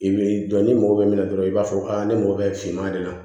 I b'i dɔn ni mɔgɔ bɛ minɛ dɔrɔn i b'a fɔ ne mago bɛ finman de la